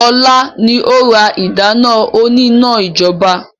Sọlá ni ó ra ìdáná òní-iná ijọba